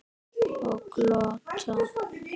Og glotta.